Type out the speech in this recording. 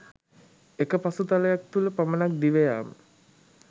එක පසුතලයක් තුළ පමණක් දිවයාම.